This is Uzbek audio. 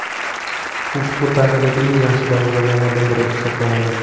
U futbol tarixidagi eng yaxshi darvozabonlardan biri hisoblanadi.